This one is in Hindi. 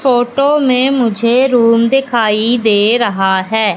फोटो में मुझे रूम दिखाई दे रहा है।